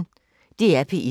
DR P1